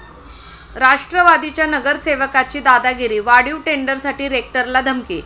राष्ट्रवादीच्या नगरसेवकाची दादागिरी, वाढीव टेंडरसाठी रेक्टरला धमकी!